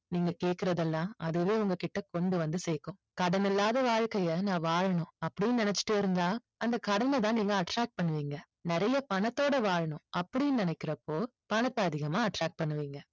நீங்க கேக்குறது எல்லாம் அதுவே உங்ககிட்ட கொண்டு வந்து சேர்க்கும் கடன் இல்லாத வாழ்கைய நான் வாழணும் அப்படின்னு நினைச்சிட்டு இருந்தா அந்த கடனை தான் நீங்க attract பண்ணுவீங்க நிறைய பணத்தோட வாழணும் அப்படின்னு நினைக்கறப்போ பணத்தை அதிகமா attract பண்ணுவீங்க